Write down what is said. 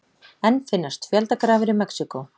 Enn finnast fjöldagrafir í Mexíkó